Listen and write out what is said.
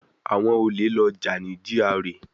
Àwọn olè lọ jà ní GRA